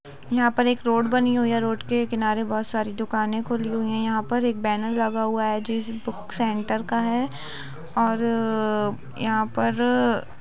यहा पर एक रोड बनी हुयी है रोड किनारे बहुत सारी दुकाने खुली हुयी है यहां पर एक बेनर लगा हुआ है जो किसी सेंटर का है और यहा पर।